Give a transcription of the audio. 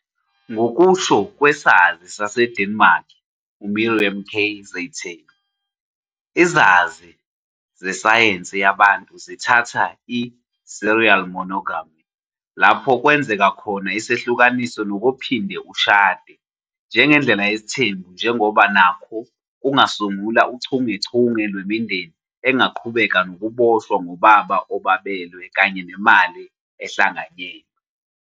Ngokusho kwesazi saseDenmark uMiriam K. Zeitzen, izazi zesayensi yabantu zithatha i-serial monogamy, lapho kwenzeka khona isehlukaniso nokuphinde ushade, njengendlela yesithembu njengoba nakho kungasungula uchungechunge lwemindeni engaqhubeka nokuboshwa ngobaba obabelwe kanye nemali ehlanganyelwe.